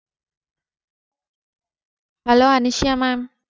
hello Anusuya mam